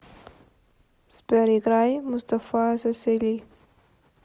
сбер играй мустафа сесели